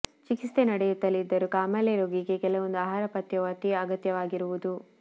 ಚಿಕಿತ್ಸೆ ನಡೆಯುತ್ತಲಿದ್ದರೂ ಕಾಮಾಲೆ ರೋಗಿಗೆ ಕೆಲವೊಂದು ಆಹಾರ ಪಥ್ಯವು ಅತೀ ಅಗತ್ಯವಾಗಿರುವುದು